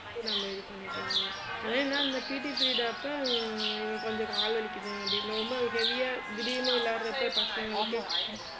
இது பண்ணிக்கலாம் ஆனா என்ன அந்த PT period அப்ப ஹம் இவன் கொஞ்சம் கால் வலிக்குது அப்படின்னு ரொம்ப heavy ஆ திடீர்னு விளையாடறப்ப பசங்களுக்கு